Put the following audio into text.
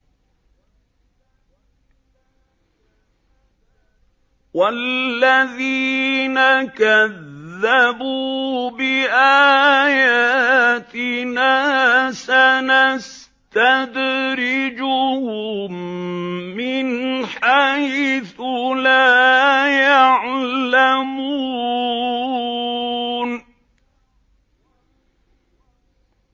وَالَّذِينَ كَذَّبُوا بِآيَاتِنَا سَنَسْتَدْرِجُهُم مِّنْ حَيْثُ لَا يَعْلَمُونَ